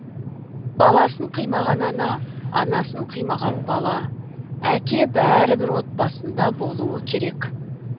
баласын қимаған ана анасын қимаған бала әке бәрі бір отбасында болуы керек